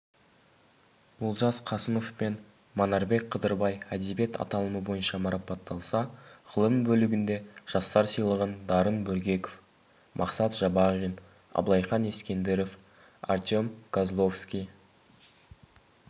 олжас қасымов пен манарбек қыдырбай әдебиет аталымы бойынша марапатталса ғылым бөлігінде жастар сыйлығын дарын бөргеков мақсат жабағин абылайхан ескендіров артем козловский